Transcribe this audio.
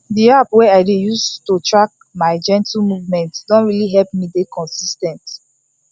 the app wey i dey use to track my gentle movement don really help me dey consis ten t